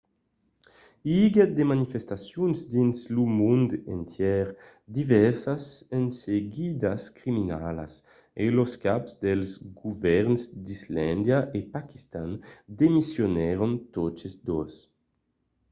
i aguèt de manifestacions dins lo mond entièr divèrsas enseguidas criminalas e los caps dels govèrns d'islàndia e paquistan demissionèron totes dos